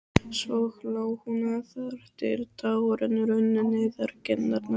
Svo hló hún þar til tárin runnu niður kinnarnar.